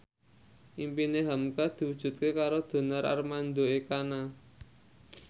impine hamka diwujudke karo Donar Armando Ekana